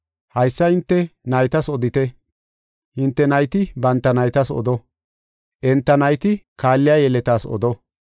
Haysa hinte naytas odite; hinte nayti banta naytas odo; enta nayti kaalliya yeletas odo.